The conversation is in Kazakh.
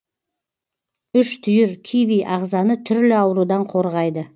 үш түйір киви ағзаны түрлі аурудан қорғайды